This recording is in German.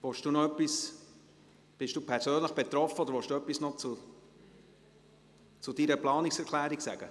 Grossrat Kipfer, sind Sie persönlich betroffen, oder wollen Sie noch etwas zu Ihrer Planungserklärung sagen?